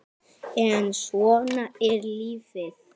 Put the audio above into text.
Hverjir dæma leikina?